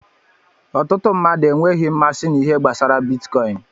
Ọtụtụ mmadụ enweghị mmasị na ihe gbasara bitkọin.